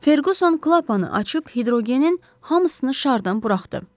Ferquson klapanı açıb hidrogenin hamısını şardan buraxdı.